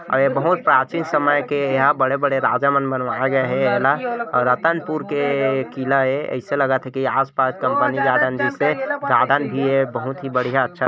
अउ ये बहुत प्राचीन समय के एहा बड़े बड़े राजा मन बनवाए गए हे एला अउ रतनपुर के. .. किला ए ऐसे लगत थे की आस-पास कंपनी जा थन जैसे गार्डन भी हे बहुत ही बढ़िहा अच्छा--